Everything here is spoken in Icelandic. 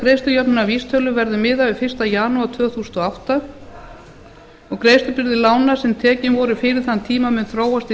greiðslujöfnunarvísitölu verður miðað við fyrsta janúar tvö þúsund og átta og greiðslubyrði lána sem voru tekin fyrir þann tíma mun þróast